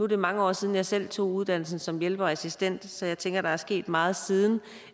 det mange år siden jeg selv tog uddannelsen som hjælper og assistent så jeg tænker der er sket meget siden